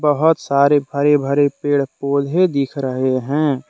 बहुत सारी हरे हरे पेड़ पौधे दिख रहे हैं।